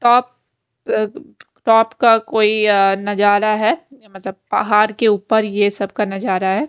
Top top का कोई नजारा है मतलब पहाड़ के ऊपर ये सब का नजारा है।